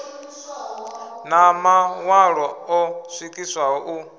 na maṋwalo o swikiswaho u